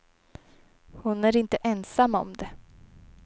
Hon är inte ensam om det.